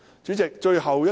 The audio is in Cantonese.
主席，最後一點。